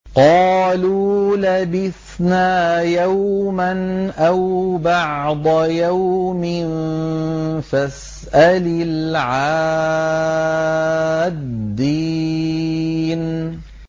قَالُوا لَبِثْنَا يَوْمًا أَوْ بَعْضَ يَوْمٍ فَاسْأَلِ الْعَادِّينَ